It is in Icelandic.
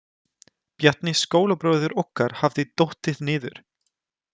Bjarni skólabróðir okkar hafði dottið niður.